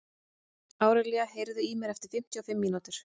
Árelía, heyrðu í mér eftir fimmtíu og fimm mínútur.